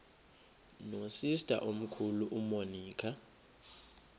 nosister omkhulu umonica